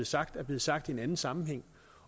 sagt er blevet sagt i en anden sammenhæng